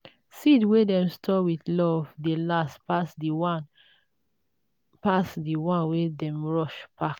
seed when dem store with love dey last pass the one pass the one wey dem rush pack